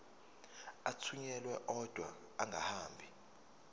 athunyelwa odwa angahambi